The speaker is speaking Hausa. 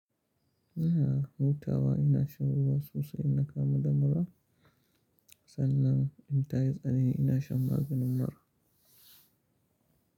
Ina hutawa, ina shan ruwa sosai, in na kamu da mura sannan in tayi tsanani ina shan maganin mura.